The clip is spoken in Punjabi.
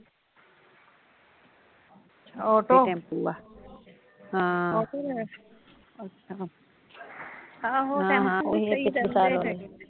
ਆਟੋ ਆਹੋ ਟੈਂਪੂ ਵੀ ਸਹੀ ਰਹਿੰਦੇ